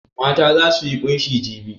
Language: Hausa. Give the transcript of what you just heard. Mata za su yi ƙunshi jibi.